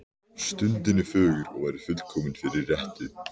Stundin er fögur og væri fullkomin fyrir rettu.